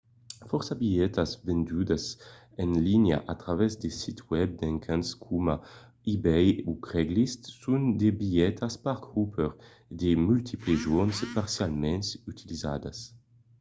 fòrça bilhetas vendudas en linha a travèrs de sits web d'encants coma ebay o craigslist son de bilhetas park-hopper de multiples jorns parcialament utilizadas